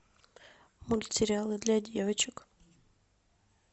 мультсериалы для девочек